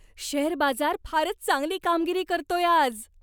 Share बाजार फारच चांगली कामगिरी करतोय आज.